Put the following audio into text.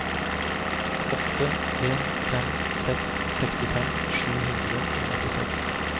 åtte en fem seks sekstifem sju hundre og åttiseks